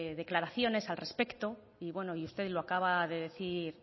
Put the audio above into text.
declaraciones al respecto y usted lo acaba de decir